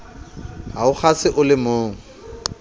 ha o kgase o lemong